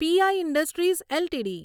P I industries LTD